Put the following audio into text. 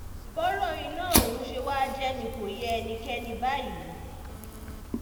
bọ́rọ̀ iná ọ̀hún um ṣe wàá jẹ́ ni kò yé ẹnikẹ́ni báyìí um